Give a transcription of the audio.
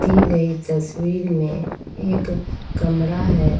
दी गई तस्वीर में एक कमरा है।